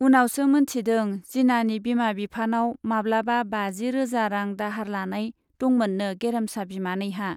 उनावसो मोनथिदों जिनानि बिमा बिफानाव माब्लाबा बाजि रोजा रां दाहार लानाय दंमोननो गेरेमसा बिमानैहा।